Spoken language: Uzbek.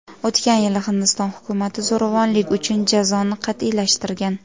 O‘tgan yili Hindiston hukumati zo‘ravonlik uchun jazoni qat’iylashtirgan.